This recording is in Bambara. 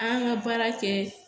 An ka baara kɛ